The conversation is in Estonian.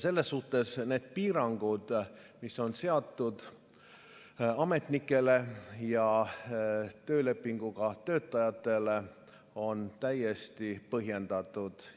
Selles suhtes need piirangud, mis on seatud ametnikele ja töölepinguga töötajatele, on täiesti põhjendatud.